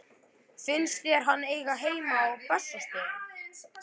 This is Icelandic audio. Finnst þér hann eiga heima á Bessastöðum?